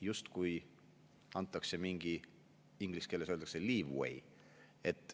Justkui antakse mingi, inglise keeles öeldakse leeway.